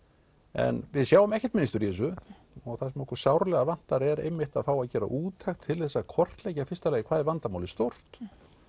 en við sjáum ekkert mynstur í þessu og það sem okkur sárlega vantar er einmitt að fá að gera úttekt til að kortleggja í fyrsta lagi hvað er vandamálið stórt